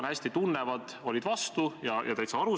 Ja teistel puhkudel me näeme, kuidas asju algatatakse üliagaralt.